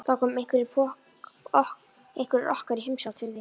Þá koma einhverjir okkar í heimsókn til þín